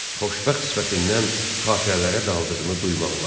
Xoşbəxt sifətindən xatırələrə daldığını duymaq olardı.